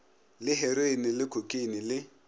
le heroine le khokheine le